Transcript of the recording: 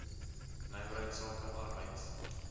nywerheids sake arbeids